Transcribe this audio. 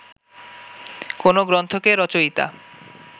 কোনো গ্রন্থকে রচয়িতা